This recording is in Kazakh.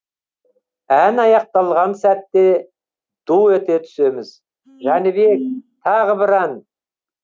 ән аяқталған сәтте ду ете түсеміз жәнібек тағы бір ән